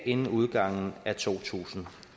inden udgangen af to tusind